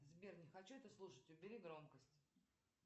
сбер не хочу это слушать убери громкость